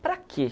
Para quê?